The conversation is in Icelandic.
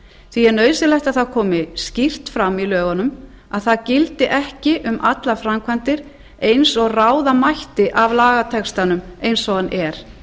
því er nauðsynlegt að það komi skýrt fram í lögunum að það gildi ekki um allar framkvæmdir eins og ráða mætti af lagatextanum eins og hann er